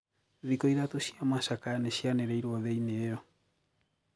Thikũ ithatũ cia macakaya nishianirirwo thiini iyo.